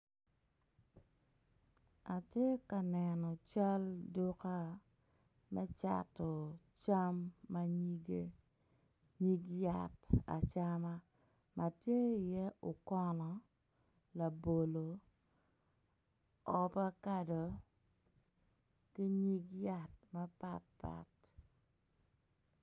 Atye kaneno cal duka macato cam ma nyige nyig yat acama ma tye iye okono labolo ovakado ki nyig yat mapatapt.